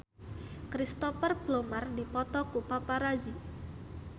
Cristhoper Plumer dipoto ku paparazi